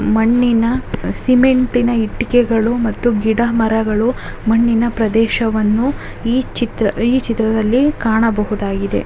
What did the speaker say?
ಮಣ್ಣಿನ ಹ್ಮ್ ಸಿಮೆಂಟ್ ನ ಇಟ್ಟಿಗೆಗಳು ಮತ್ತು ಗಿಡ ಮರಗಳು ಮಣ್ಣಿನ ಪ್ರದೇಶವನ್ನು ಈ ಚಿತ್ರ ಈ ಚಿತ್ರದಲ್ಲಿ ಕಾಣಬಹುದಾಗಿದೆ.